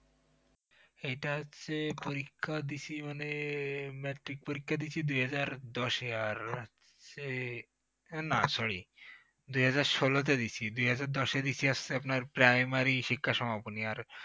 এটা হচ্ছে পরীক্ষা দিছি মানে matric পরীক্ষা দিছি দু হাজার দশ এ আর হচ্ছে না sorry দু হাজাৱ ষোল তে দিয়েছি আর দু হাজাৱ দশে দিছি হচ্ছে primary শিক্ষা সমাপনী আর